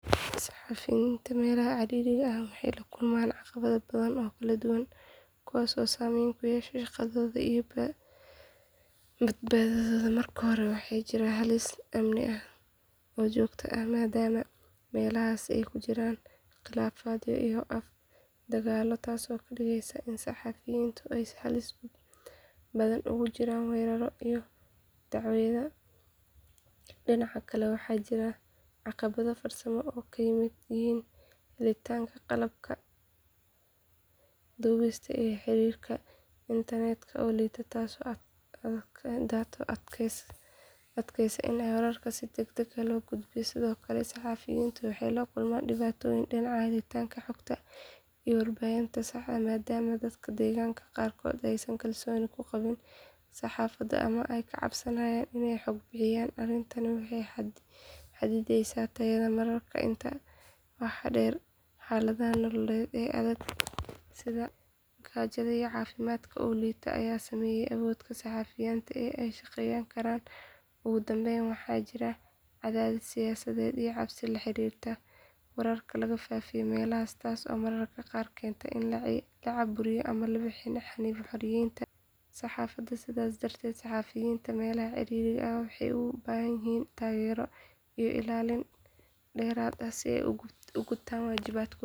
Saxafiyiinta meelaha cirriiriga ah waxay la kulmaan caqabado badan oo kala duwan kuwaasoo saameyn ku yeesha shaqadooda iyo badbaadadooda marka hore waxaa jira halis amni oo joogto ah maadaama meelahaasi ay ka jiraan khilaafaadyo iyo dagaalo taasoo ka dhigaysa in saxafiyiintu ay halis badan ugu jiraan weeraro iyo dhaawacyo dhinaca kale waxaa jira caqabado farsamo oo ay ka mid yihiin helitaanka qalabka duubista iyo xiriirka internetka oo liita taasoo adkeysa in wararka si degdeg ah loo gudbiyo sidoo kale saxafiyiintu waxay la kulmaan dhibaatooyin dhinaca helitaanka xogta iyo warbixinaha saxda ah maadaama dadka deegaanka qaarkood aysan kalsooni ku qabin saxaafadda ama ay ka cabsanayaan inay xog bixiyaan arrintani waxay xaddidaysaa tayada wararka intaa waxaa dheer xaaladaha nololeed ee adag sida gaajada iyo caafimaadka oo liita ayaa saameeya awoodda saxafiyiinta ee ay ku shaqeyn karaan ugu dambeyn waxaa jira cadaadis siyaasadeed iyo cabsi la xiriirta in wararka lagu faafiyo meelahaasi taasoo mararka qaar keenta in la caburiyo ama la xanibo xoriyadda saxaafadda sidaas darteed saxafiyiinta meelaha cirriiriga ah waxay u baahan yihiin taageero iyo ilaalin dheeraad ah si ay u gutaan waajibaadkooda.